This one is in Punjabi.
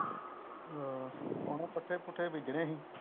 ਅਹ ਹੁਣ ਨੂੰ ਪੱਠੇ ਪੁੱਠੇ ਬੀਜਣੇ ਸੀ